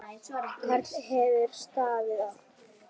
Karl hefur stafinn átt.